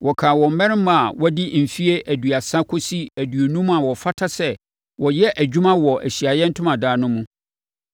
Wɔkan wɔn mmarima a wɔadi mfeɛ aduasa kɔsi aduonum a wɔfata sɛ wɔyɛ adwuma wɔ Ahyiaeɛ Ntomadan no mu.